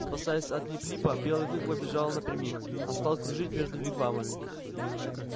спасаясь от лип липа белый клык побежал не напрямик а стал кружить между вигвамами